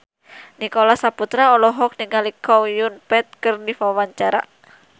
Nicholas Saputra olohok ningali Chow Yun Fat keur diwawancara